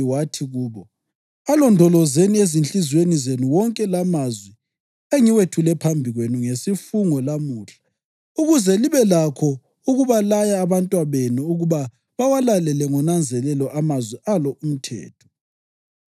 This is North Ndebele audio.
wathi kubo, “Alondolozeni ezinhliziyweni zenu wonke lamazwi engiwethule phambi kwenu ngesifungo lamuhla, ukuze libe lakho ukubalaya abantwabenu ukuba bawalalele ngonanzelelo amazwi alo umthetho.